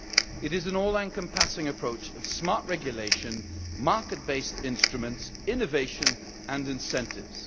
It is an all encompassing approach of smart regulation, market based instruments, innovation and incentives.